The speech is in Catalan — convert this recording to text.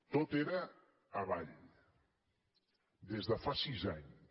tot era avall des de fa sis anys